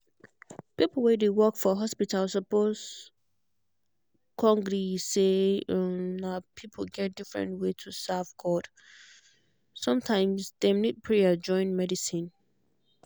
people wey dey work for hospital suppose um gree say um people get different way to serve god. sometimes dem need prayer join medicine.